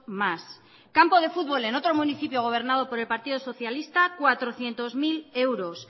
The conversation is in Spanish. mas campo de futbol en otro municipio gobernado por el partido socialista cuatrocientos mil euros